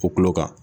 O kulo kan